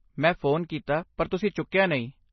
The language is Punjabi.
ਮੈਂ ਫ਼ੋਨ ਕੀਤਾ, ਪਰ ਤੁਸੀਂ ਚੁੱਕਿਆ ਨਹੀਂ।